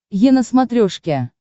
е на смотрешке